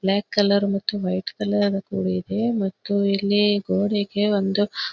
block colour ಮತ್ತು white colour ಕೂಡಿದೆ ಮತ್ತು ಇಲ್ಲಿ ಗೋಡೆಗೆ ಒಂದು --